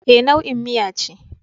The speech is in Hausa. E, nau'in miya ce.